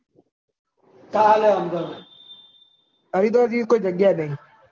હરિદ્વાર જેવી લોઈ જગ્યા નહિ